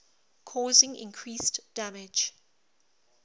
causing increased damage